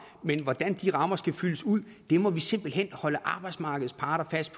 men hvordan de rammer skal fyldes ud må vi simpelt hen holde arbejdsmarkedets parter fast